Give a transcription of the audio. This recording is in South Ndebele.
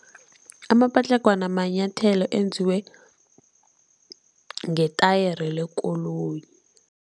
Amapatlagwana manyathelo enziwe ngetayere lekoloyi.